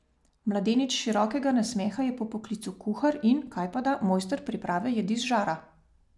Mladenič širokega nasmeha je po poklicu kuhar in, kajpada, mojster priprave jedi z žara.